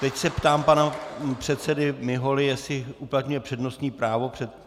Teď se ptám pana předsedy Miholy, jestli uplatňuje přednostní právo.